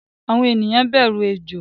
Àwọn ènìyàn bẹru Ejò